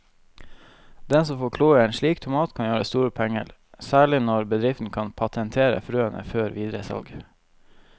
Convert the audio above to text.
Den som får kloa i en slik tomat kan gjøre store penger, særlig når bedriften kan patentere frøene før videre salg.